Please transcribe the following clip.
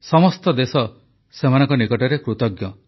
ସମସ୍ତ ଦେଶ ସେମାନଙ୍କ ନିକଟରେ କୃତଜ୍ଞ